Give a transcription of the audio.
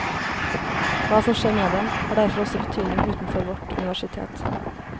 Hva som skjer med dem, har derfor også betydning utenfor vårt universitet.